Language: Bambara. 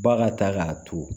Ba ka taa k'a to